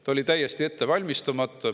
Ta oli täiesti ette valmistamata.